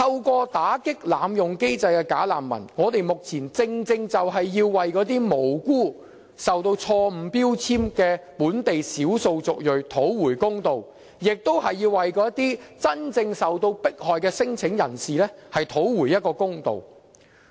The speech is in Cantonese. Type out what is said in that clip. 我們打擊濫用機制的"假難民"，正正就是要為那些無辜受到錯誤標籤的本地少數族裔討回公道，亦是為那些真正受到迫害的聲請人士討回公道。